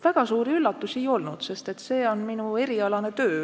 Väga suuri üllatusi ei ole olnud, sest see on minu erialane töö.